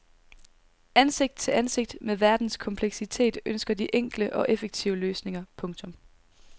Ansigt til ansigt med verdens kompleksitet ønsker de enkle og effektive løsninger. punktum